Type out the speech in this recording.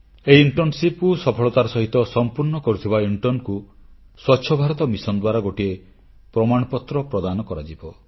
ଏହି ଇଣ୍ଟର୍ଣ୍ଣସିପକୁ ସଫଳତାର ସହିତ ସମ୍ପୂର୍ଣ୍ଣ କରିଥିବା ଇଣ୍ଟର୍ଣ୍ଣ ଛାତ୍ରଛାତ୍ରୀଙ୍କୁ ସ୍ୱଚ୍ଛ ଭାରତ ମିଶନ ଦ୍ୱାରା ଗୋଟିଏ ପ୍ରମାଣପତ୍ର ପ୍ରଦାନ କରାଯିବ